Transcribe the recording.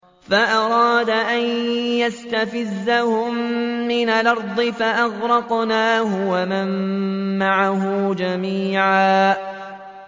فَأَرَادَ أَن يَسْتَفِزَّهُم مِّنَ الْأَرْضِ فَأَغْرَقْنَاهُ وَمَن مَّعَهُ جَمِيعًا